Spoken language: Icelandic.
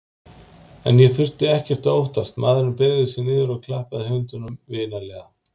En ég þurfti ekkert að óttast, maðurinn beygði sig niður og klappaði hundinum vinalega.